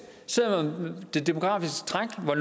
selv om det demografiske træk var